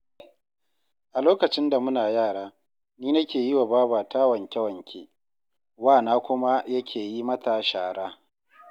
A lokacin da muna yara, ni nake yi wa babata wanke-wanke, wana kuma yake yi mata shara